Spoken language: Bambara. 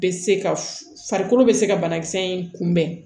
Bɛ se ka f farikolo be se ka banakisɛ in kunbɛn